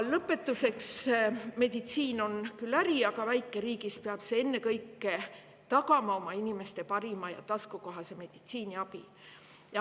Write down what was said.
Meditsiin on küll äri, aga väikeriigis peab see ennekõike tagama inimestele parima ja taskukohase meditsiiniabi.